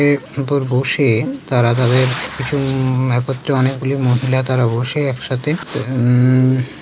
এ উপর বসে তারা তাদের কিছু-উ একত্রে অনেকগুলি মহিলা তারা বসে একসাথে উম--